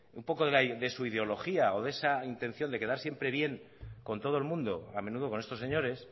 un poco de su ideología o de esa intención de quedar siempre bien con todo el mundo a menudo con estos señores